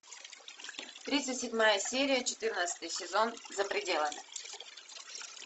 тридцать седьмая серия четырнадцатый сезон за пределами